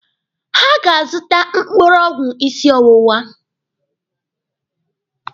Ha ga-azụta mkpụrụ ọgwụ ịsị ọwụwa.